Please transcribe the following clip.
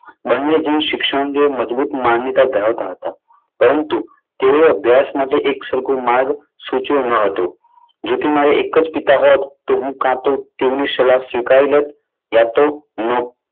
બંને જણ શિક્ષણ અંગે મજબૂત માન્યતા ધરાવતા હતા. પરંતુ તેઓ અભ્યાસ માટે એકસરખું માર્ગ સૂચવી ન હતું. જો કે મારે એક જ પિતા હોત, તો હું કા તો એમની સલાહ સ્વીકારી યા તો